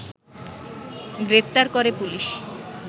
গ্রেফতার করে পুলিশ